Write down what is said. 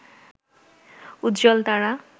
উজ্জ্বল তারা